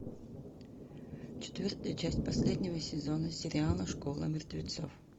четвертая часть последнего сезона сериала школа мертвецов